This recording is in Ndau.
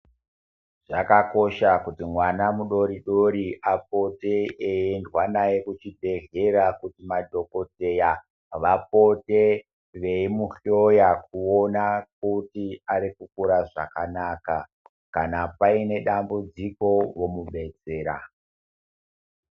Zvakakosha kuti mwana mudoridori apote aiendwa naye kuchibhehleya kuti madhokodheya vapote veimuhloya kuona kuti ari kukura zvakanaka kana paine dambudziko vomubetsera.